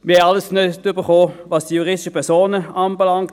Wir haben nichts bekommen, was die juristischen Personen anbelangt.